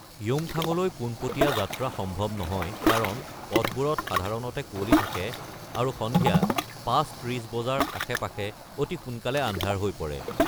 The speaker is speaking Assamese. য়ুমথাংলৈ পোনপটীয়া যাত্ৰা সম্ভৱ নহয় কাৰণ পথবোৰত সাধাৰণতে কুঁৱলী থাকে আৰু সন্ধিয়া ৫:৩০ বজাৰ আশে-পাশে অতি সোনকালে আন্ধাৰ হৈ পৰে।